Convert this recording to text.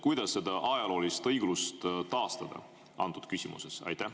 Kuidas seda ajaloolist õiglust taastada selles küsimuses?